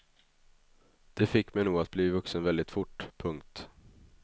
Det fick mig nog att bli vuxen väldigt fort. punkt